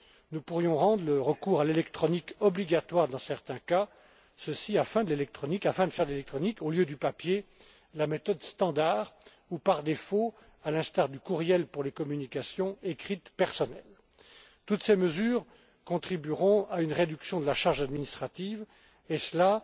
Nous pourrions rendre le recours à l'électronique obligatoire dans certains cas, afin de faire de l'électronique au lieu du papier la méthode standard ou par défaut, à l'instar du courriel pour les communications écrites personnelles. Toutes ces mesures contribueront à une réduction de la charge administrative,